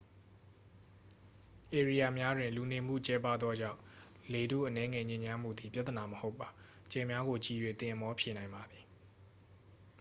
ဧရိယာများတွင် လူနေထိုင်မှုကျဲပါးသောကြောင့် လေထုအနည်းငယ်ညစ်ညမ်းမှုသည် ပြသနာမဟုတ်ပါ ကြယ်များကို ကြည့်၍ သင်အမောဖြေနိုင်ပါသည်